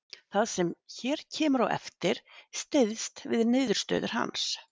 Það sem hér kemur á eftir styðst við niðurstöður hans.